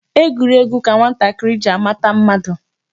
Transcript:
Egwuregwu ka nwatakịrị ji amata mmadụ.